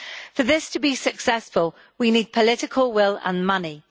For this to be successful, we need political will and money.